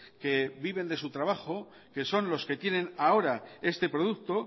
que viven de su trabajo que son los que tienen ahora este producto